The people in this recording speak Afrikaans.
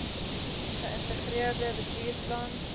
ge integreerde bestuursplan